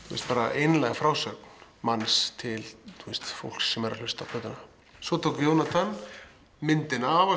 einlæg frásögn manns til fólks sem væri að hlusta á plötuna svo tók Jónatan myndina það var